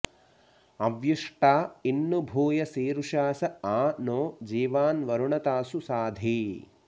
अव्यु॑ष्टा॒ इन्नु भूय॑सीरु॒षास॒ आ नो॑ जी॒वान्व॑रुण॒ तासु॑ शाधि